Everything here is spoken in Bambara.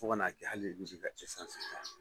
Fo ka n'a kɛ hali